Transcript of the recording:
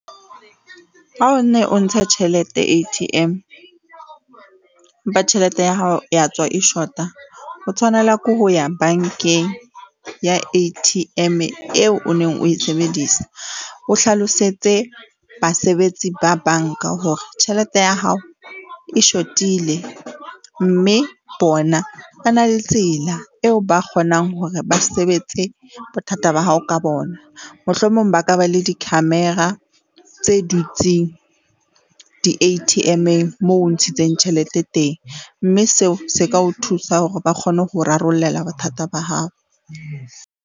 Ha o ne o ntshe tjhelete A_T_M empa tjhelete ya hao ya tswa e shota. O tshwanela ke ho ya bank-eng ya A_T_M eo o neng o sebedisa. O hlalosetse basebetsi ba bank-a hore tjhelete ya hao e shotile mme bona ba na le tsela eo ba kgonang hore ba sebetse bothata ba hao ka bona. Mohlomong ba ka ba le di-camera tse dutseng di A_T_M-eng moo o ntshitseng tjhelete teng, mme seo se ka o thusa hore ba kgone ho o rarollela bothata ba hao.